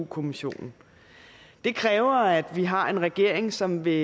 kommissionen det kræver at vi har en regering som vil